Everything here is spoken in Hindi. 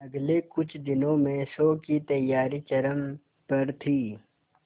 अगले कुछ दिनों में शो की तैयारियां चरम पर थी